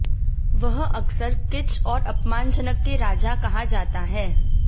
वह अक्सर किच और अपमानजनक के राजा कहा जाता है